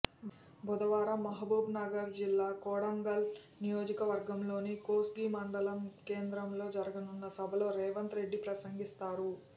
బుధవారం మహబూబ్నగర్ జిల్లా కొడంగల్ నియోజకవర్గంలోని కోస్గి మండల కేంద్రంలో జరగనున్న సభలో రేవంత్ రెడ్డి ప్రసంగిస్తారు